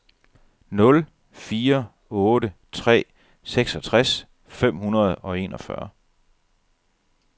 nul fire otte tre seksogtres fem hundrede og enogfyrre